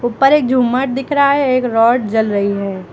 ऊपर एक झूमर दिख रहा है एक रॉड जल रही है।